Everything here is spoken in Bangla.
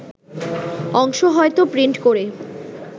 অংশ হয়তো প্রিন্ট করে